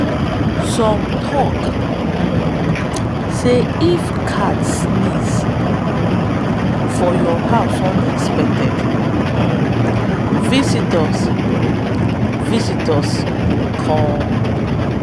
some tok um say if cat sneeze um for your house unexpected um visitors um visitors go come.